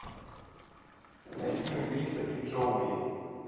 найди мелисса и джоуи